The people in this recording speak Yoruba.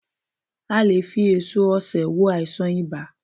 A lè e fi èso osè wo àìsàn ibà